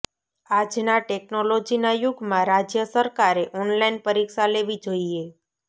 આજના ટેક્નોલોજીના યુગમાં રાજ્ય સરકારે ઓનલાઇન પરીક્ષા લેવી જોઇએ